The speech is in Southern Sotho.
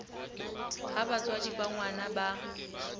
ha batswadi ba ngwana ba